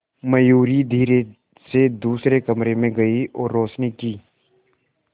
मयूरी धीरे से दूसरे कमरे में गई और रोशनी की